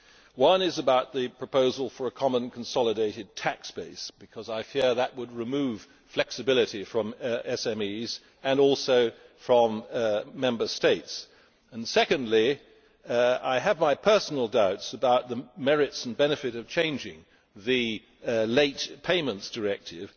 The first concerns the proposal for a common consolidated tax base, because I fear that this would remove flexibility from SMEs and also from Member States. Secondly, I have personal doubts about the merits and benefits of changing the Late Payment Directive.